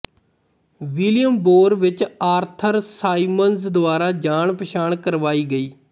volume ਬੋਰ ਵਿੱਚ Arthur Symons ਦੁਆਰਾ ਜਾਣਪਛਾਣ ਕਰਵਾਈ ਗਈ